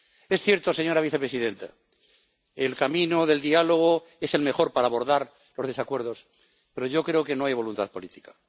Es cierto, señora vicepresidenta el camino del diálogo es el mejor para abordar los desacuerdos, pero yo creo que no hay voluntad política.